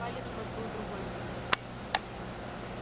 палец вот был другой совсем